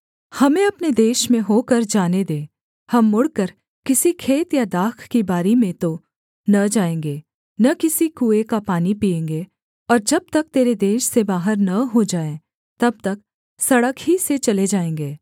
हमें अपने देश में होकर जाने दे हम मुड़कर किसी खेत या दाख की बारी में तो न जाएँगे न किसी कुएँ का पानी पीएँगे और जब तक तेरे देश से बाहर न हो जाएँ तब तक सड़क ही से चले जाएँगे